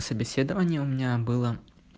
собеседование у меня было